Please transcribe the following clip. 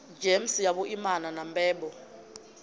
gems ya vhuimana na mbebo